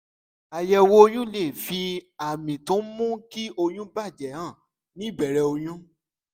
àyẹ̀wò oyún lè fi àmì tó ń mú kí oyún bà jẹ́ hàn ní ìbẹ̀rẹ̀ oyún